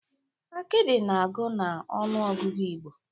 Akidi na-agụ na ọnụ ọgụgụ Igbo.